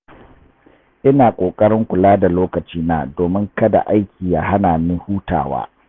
Ina ƙoƙarin kula da lokacina domin kada aiki ya hana ni hutawa.